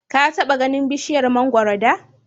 Ka taɓa ganin bishiyar mangoro da?